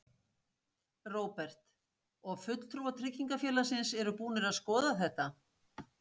Róbert: Og fulltrúar tryggingafélagsins eru búnir að skoða þetta?